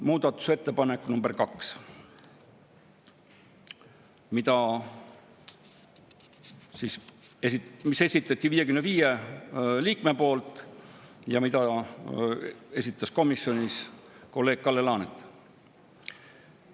Muudatusettepanek nr 2, mis esitati 55 liikme poolt ja mida oli komisjonis tutvustanud kolleeg Kalle Laanet.